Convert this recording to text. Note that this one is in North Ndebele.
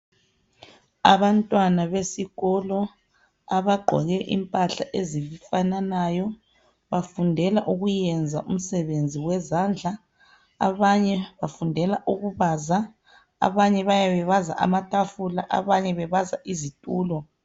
Abantwana besikolo abagqoke impahla ezifananayo bafundela ukuyenza umsebenzi wezandla, abanye bafundela ukubaza. Abanye bayabe bebaza amatafula abanye bebaza izitulo.